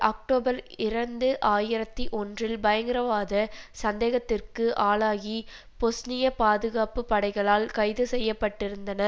October இரண்டு ஆயிரத்தி ஒன்றில் பயங்கரவாத சந்தேகத்திற்கு ஆளாகி பொஸ்னிய பாதுகாப்பு படைகளால் கைதுசெய்யப்பட்டிருந்தன